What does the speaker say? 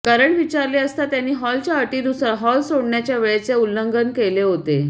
कारण विचारले असता त्यांनी हॉलच्या अटीनुसार हॉल सोडण्याच्या वेळेचे उल्लंघन केले होते